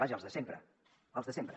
vaja els de sempre els de sempre